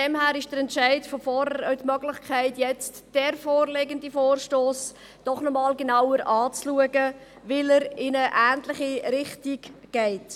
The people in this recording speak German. Daher bietet der Entscheid von vorhin auch die Möglichkeit, den vorliegenden Vorstoss doch noch einmal genauer anzuschauen, weil er in eine ähnliche Richtung geht.